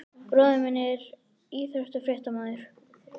Bróðir minn er íþróttafréttamaður.